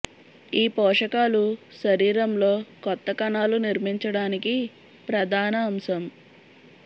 ఈ పోషకాలు శరీరం లో కొత్త కణాలు నిర్మించడానికి ప్రధాన అంశం